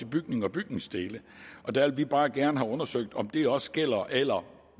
bygninger og bygningsdele og der vil vi bare gerne have undersøgt om det også gælder eller